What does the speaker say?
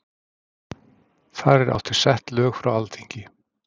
þar er átt við sett lög frá alþingi